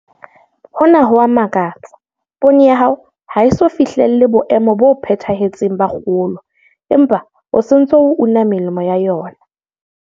Hona ho a makatsa, poone ya hao ha e eso fihlele boemo bo phethahetseng ba kgolo empa o se o ntse o una melemo ya yona.